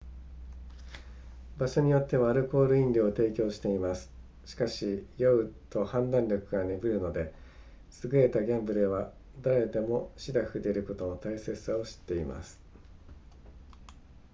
会場によってはアルコール飲料を提供していますしかし酔うと判断力が鈍るので優れたギャンブラーは誰でもしらふでいることの大切さを知っています